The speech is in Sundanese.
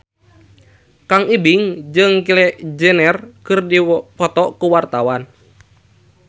Kang Ibing jeung Kylie Jenner keur dipoto ku wartawan